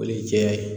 O ye cɛ ye